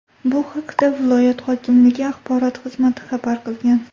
Bu haqda viloyat hokimligi axborot xizmati xabar qilgan .